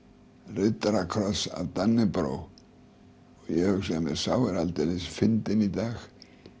riddarakross af Dannebrog ég hugsaði með mér sá er aldeilis fyndinn í dag